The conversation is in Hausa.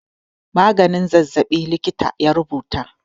Maganin zazzaɓi likita ya rubuta.